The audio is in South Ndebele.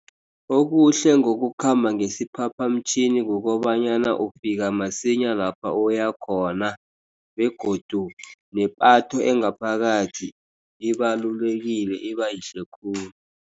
Okuhle ngokukhamba ngesiphaphamtjhini kukobanyana ufika masinya lapha uya khona. Begodu nepatho engaphakathi ibalulekile ibayihle khulu.